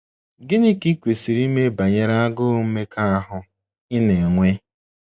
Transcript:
Gịnị ka i kwesịrị ime banyere agụụ mmekọahụ ị na - enwe?